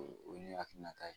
O ye hakilina ta ye